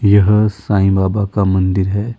यह साईं बाबा का मंदिर है।